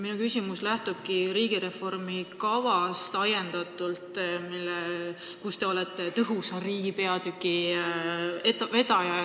Minu küsimus lähtubki riigireformi kavast, kus te olete tõhusa riigi peatüki vedaja.